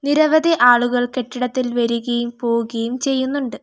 നിരവധി ആളുകൾ കെട്ടിടത്തിൽ വരുകയും പോവുകയും ചെയ്യുന്നുണ്ട്.